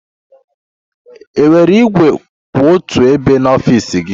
Enwere igwe kwụ otu ebe n'ọfịs gị?